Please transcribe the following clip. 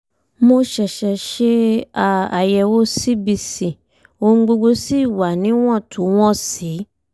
mo ṣẹ̀ṣẹ̀ ṣe um àyẹ̀wò cbc ohun gbogbo sì wà níwọ̀ntúnwọ̀nsì